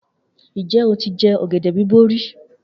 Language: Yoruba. Njẹ o tí jẹ ọ̀gẹ̀dẹ̀ bíbò rí?